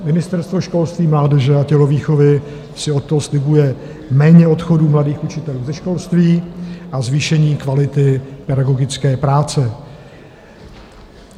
Ministerstvo školství, mládeže a tělovýchovy si od toho slibuje méně odchodu mladých učitelů ze školství a zvýšení kvality pedagogické práce.